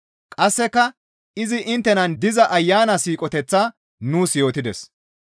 Qasseka izi inttenan diza Ayana siiqoteththaa nuus yootides.